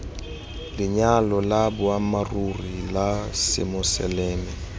lenyalo la boammaaruri la semoseleme